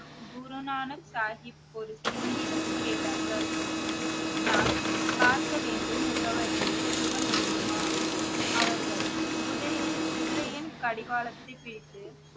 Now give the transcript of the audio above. குரு நானக் சாஹிப் ஒரு சிங்கிடம் கேட்டார்கள் நான் பார்க்க வேண்டும் முகவரியை சொல்ல முடியுமா அவர்கள் குதிரையின் கடிவாளத்தை கேட்டு